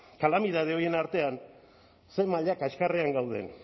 kalamidade horien artean zer maila kaskarrean gauden